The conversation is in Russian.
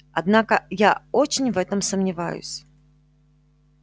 однако я очень в этом сомневаюсь